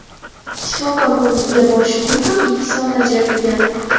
Shifokor ko‘rigiga borish uchun ham ikki soat ajratilgan.